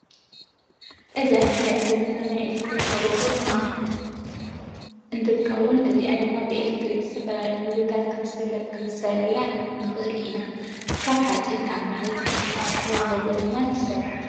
እዛ እንሪኣ ዘለና ናይ ኤሌትሪክ መጎጎ እንትት ከውን እዚኣ ድማ ብኤሌትሪክ ዝተፈላለዩ ምግብታት ክብስለላ ንክእል ኢና ። ካብ ሓፂንን ካብ መሬት ዝተሰርሓ መጎጎን ድማ ትስራሕ።